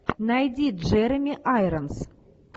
найди джереми айронс